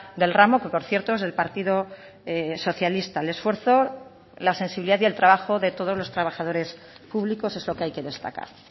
del ramo que por cierto es del partido socialista el esfuerzo la sensibilidad y el trabajo de todos los trabajadores públicos eso que hay que destacar